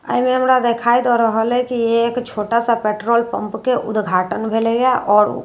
एहि मे हमरा दिखाई द रहल है की ए एकटा छोटा सा पेट्रॉल पम्प के उद्घाटन भेलए यै आओर पेट्रोल --